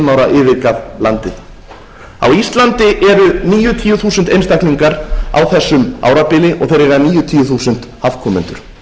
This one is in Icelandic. fimm ára yfirgaf landi á íslandi eru níutíu þúsund einstaklingar á þessu árabili og þeir eiga níutíu þúsund afkomendur